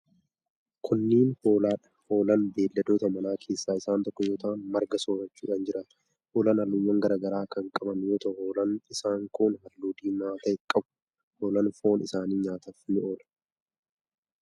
Kunneen ,hoolaa dha. Hoolaan beeyiladoota manaa keessaa isaan tokko yoo ta'an, marga soorachuun jiraatu. Hoolaan haalluuwwan garaa garaa kan qaban yoo ta'u, hoolaan isaan kun haalluu diimaa ta'e qabu. Hoolaan foon isaanii nyaataf ni oola.